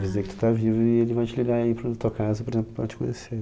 Avisei que tu tá vivo e ele vai te ligar aí para a tua casa, por exemplo, para te conhecer.